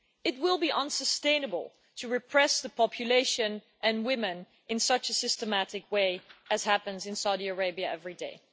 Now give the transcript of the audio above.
It will be unsustainable to repress the population and women in such a systematic way, as happens in Saudi Arabia every day.